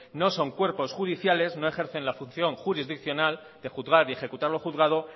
no son cuerpos judiciales no ejercen la función jurisdiccional de juzgar y ejecutar lo juzgado